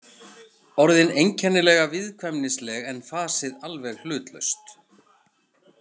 Orðin einkennilega viðkvæmnisleg en fasið alveg hlutlaust.